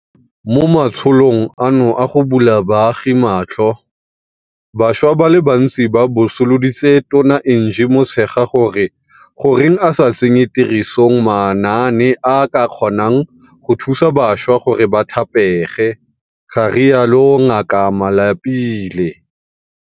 Mo matsholong ano a go bula baagi matlho, bašwa ba le bantsi ba botsoloditse Tona Angie Motshekga gore goreng a sa tsenye tirisong manaane a a ka kgonang go thusa bašwa gore ba thapege, ga rialo Ngaka Malapile.